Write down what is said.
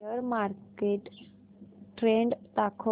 share market trend दाखव